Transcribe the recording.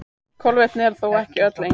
Kolvetni eru þó ekki öll eins.